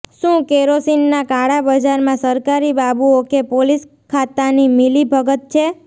શું કેરોસીનના કાળા બજારમાં સરકારી બાબુઓ કે પોલીસ ખાતાની મીલી ભગત છે